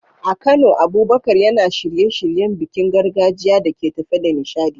A Kano, Abubakar yana shirye-shiryen bikin gargajiya da ke tafe da nishadi.